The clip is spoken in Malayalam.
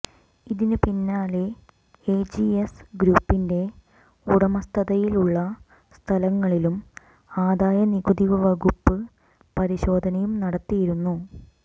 ഇതിന് പിന്നാലെ എജിഎസ് ഗ്രൂപ്പിന്റെ ഉടമസ്ഥതയിലുള്ള സ്ഥലങ്ങളിലും ആദായ നികുതി വകുപ്പ് പരിശോധനയും നടത്തിയിരുന്നു